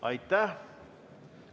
Aitäh!